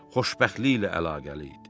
Xoşbəxtliklə əlaqəli idi.